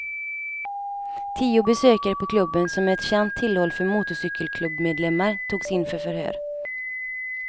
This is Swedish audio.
Tio besökare på klubben, som är ett känt tillhåll för motorcykelklubbmedlemmar, togs in för förhör.